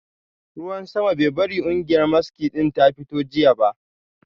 Ruwan sama bai bari kungiyar maski din ta fito jiya ba